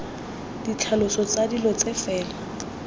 ditlhaloso tsa dilo tse fela